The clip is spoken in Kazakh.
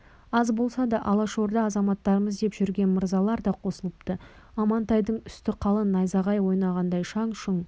аз болса да алашорда азаматтарымыз деп жүрген мырзалар да қосылыпты амантайдың үсті қалың найзағай ойнағандай шаң-шұң